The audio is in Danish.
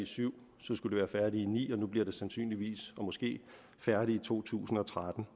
syv så skulle det være færdigt i ni og nu bliver det sandsynligvis måske færdigt i to tusind og tretten